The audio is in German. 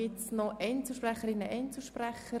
Gibt es noch Einzelsprecherinnen oder Einzelsprecher?